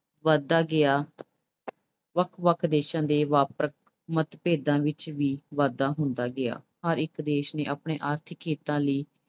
ਵਧਦਾ ਗਿਆ ਵੱਖ ਵੱਖ ਦੇਸ਼ਾਂ ਦੇ ਵਪਾਰਕ ਮਤਭੇਦਾਂ ਵਿੱਚ ਵੀ ਵਾਧਾ ਹੁੰਦਾ ਗਿਆ। ਹਰ ਇੱਕ ਦੇਸ਼ ਨੇ ਆਪਣੇ ਆਰਥਿਕ ਹਿੱਤਾਂ ਲਈ